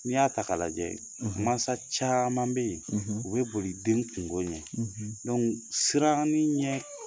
N'i y'a ta k'a lajɛ. . Mansa caman bɛ yen, , u bɛ boli den kungo ɲɛ. siran nin ɲɛ